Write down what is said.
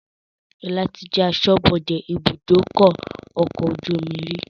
Sọlá tí jẹ aṣọ́bodè ibùdókọ̀ ọkọ̀ ojú omi rí